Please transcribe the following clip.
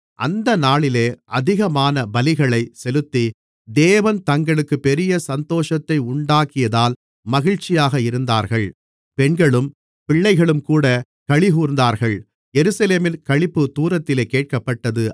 அந்த நாளிலே அதிகமான பலிகளைச் செலுத்தி தேவன் தங்களுக்குப் பெரிய சந்தோஷத்தை உண்டாக்கியதால் மகிழ்ச்சியாக இருந்தார்கள் பெண்களும் பிள்ளைகளும்கூடக் களிகூர்ந்தார்கள் எருசலேமின் களிப்பு தூரத்திலே கேட்கப்பட்டது